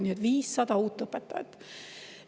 Nii et 500 uut õpetajat.